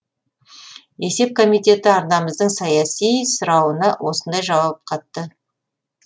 есеп комитеті арнамыздың ресми сұрауына осындай жауап қатты